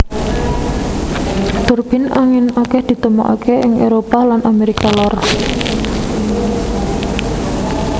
Turbin angin akèh ditemokaké ing Éropah lan Amérika Lor